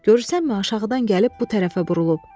Görürsənmi aşağıdan gəlib bu tərəfə burulub.